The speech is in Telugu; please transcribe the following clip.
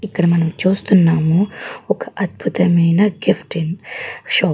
ఇక్కడ మనం చూస్తున్నాము ఒక అద్భుతమైన గిఫ్టింగ్ షాప్ .